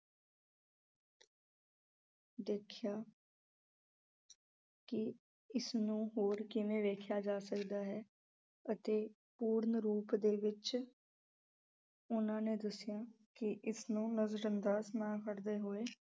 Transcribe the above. ਦੇਖਿਆਂ ਕੀ ਇਸ ਨੂੰ ਹੋਰ ਕਿਵੇਂ ਵੇਖਿਆ ਜਾ ਸਕਦਾ ਹੈ ਅਤੇ ਪੂਰਨ ਰੂਪ ਦੇ ਵਿੱਚ ਉਹਨਾਂ ਨੇ ਦੱਸਿਆ ਕੀ ਇਸ ਨੂੰ ਨਜ਼ਰ ਅੰਦਾਜ਼ ਨਾ ਕਰਦੇ ਹੋਏ